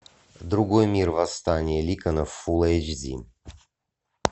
другой мир восстание ликанов фулл эйч ди